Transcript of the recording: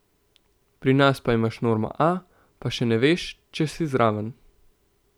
Pri nas pa imaš normo A, pa še ne veš, če si zraven.